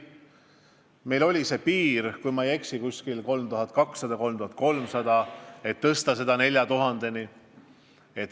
Meil oli see piirarv, kui ma ei eksi, umbes 3200–3300, ja soovime seda suurendada 4000-ni.